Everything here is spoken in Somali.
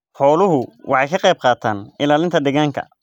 Xooluhu waxay ka qayb qaataan ilaalinta deegaanka.